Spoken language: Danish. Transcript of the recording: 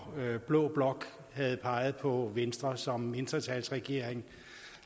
blå blok havde peget på venstre som mindretalsregering